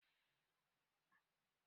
In ka ga rakumi ka ga buzu